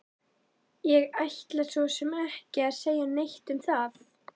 Ég ætla svo sem ekki að segja neitt um það!